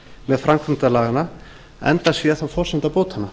með framkvæmd laganna enda sé það forsenda bótanna